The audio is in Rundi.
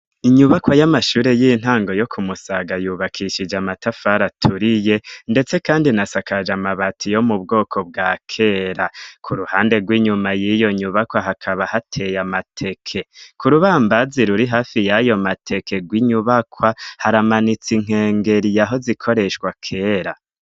Inyubakwa y'amashure y'intango yo kumusaga yubakishije amatafari aturiye ndetse kandi inasakaje amabati yo mu bwoko bwa kera ,ku ruhande rw'inyuma y'iyo nyubakwa hakaba hateye amateke. Ku rubambazi ruri hafi yayo mateke rw'inyubakwa haramanitse inkengeri yahoze ikoreshwa kera.